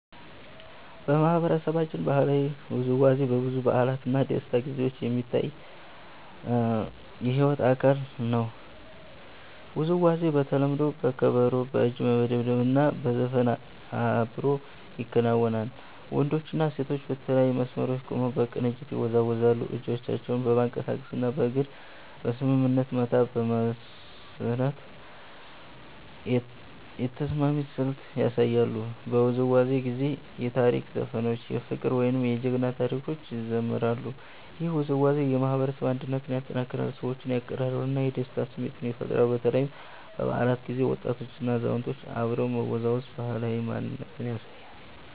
በማህበረሰባችን ባህላዊ ውዝዋዜ በብዙ በዓላት እና ደስታ ጊዜዎች የሚታይ የሕይወት አካል ነው። ውዝዋዜው በተለምዶ በከበሮ፣ በእጅ መደብደብ እና በዘፈን አብሮ ይከናወናል። ወንዶችና ሴቶች በተለያዩ መስመሮች ቆመው በቅንጅት ይወዛወዛሉ፣ እጆቻቸውን በማንቀሳቀስ እና በእግር በስምምነት መታ በመስራት የተስማሚ ስልት ያሳያሉ። በውዝዋዜው ጊዜ የታሪክ ዘፈኖች፣ የፍቅር ወይም የጀግና ታሪኮች ይዘምራሉ። ይህ ውዝዋዜ የማህበረሰብ አንድነትን ያጠናክራል፣ ሰዎችን ያቀራርባል እና የደስታ ስሜት ይፈጥራል። በተለይ በበዓላት ጊዜ ወጣቶችና አዛውንቶች አብረው መወዛወዝ ባህላዊ ማንነትን ያሳያል።